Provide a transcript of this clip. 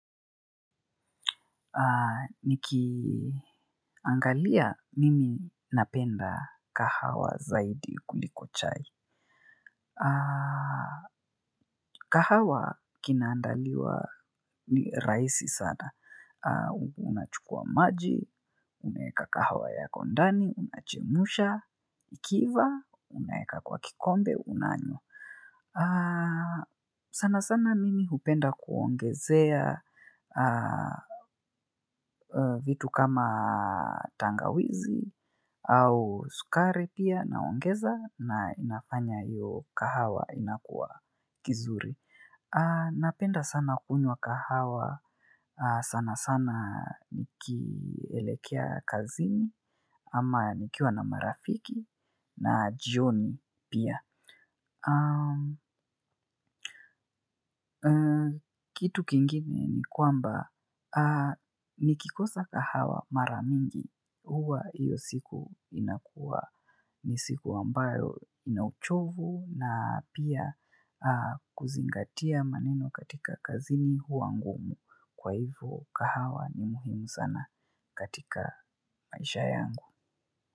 Nikiangalia mimi napenda kahawa zaidi kuliko chai. Kahawa kinaandaliwa ni raisi sana. Unachukua maji, unaeka kahawa yako ndani, unachemsha, ikiiva, uneka kwa kikombe, unanyo. Sana sana mimi hupenda kuongezea vitu kama tangawizi au sukari pia naongeza na inafanya iyo kahawa inakua kizuri. Napenda sana kunywa kahawa sana sana nikielekea kazini ama nikiwa na marafiki na jioni pia. Kitu kingine ni kwamba nikikosa kahawa mara mingi huwa hiyo siku inakuwa ni siku ambayo ina uchovu na pia kuzingatia maneno katika kazini huwa ngumu kwa hivyo kahawa ni muhimu sana katika maisha yangu.